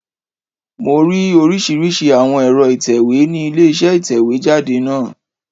Mo rí oríṣìíríṣìí àwọn ẹ̀rọ ìtẹ̀wé ni ilé isé ìtẹ̀wé jáde náà